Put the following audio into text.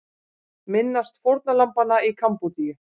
Minnast fórnarlambanna í Kambódíu